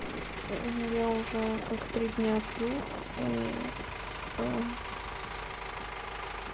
мм я уже как три дня пью и аа